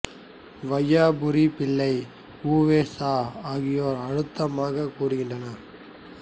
வையாபுரி பிள்ளை உ வே சா ஆகியோர் அழுத்தமாகக் கூறுகின்றனர்